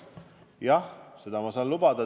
Jah, seda ma saan lubada.